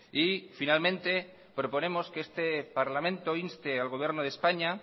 y finalmente proponemos que este parlamento inste al gobierno de españa